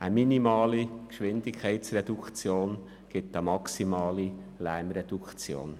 Eine minimale Geschwindigkeitsreduktion ergibt eine maximale Lärmreduktion.